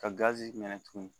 Kazi minɛ tugun